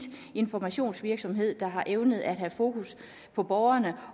informationsvirksomhed der har evnet at have fokus på borgerne